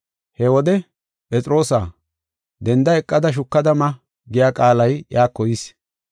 He wode, “Phexroosaa, denda eqada shukada ma” giya qaalay iyako yis.